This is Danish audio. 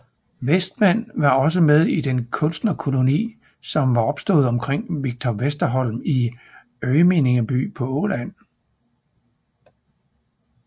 Westman var også med i den kunstnerkoloni som var opstået omkring Victor Westerholm i Önningeby på Åland